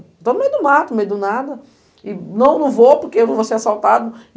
Estou no meio do mato, no meio do nada, e não vou porque eu vou ser assaltada.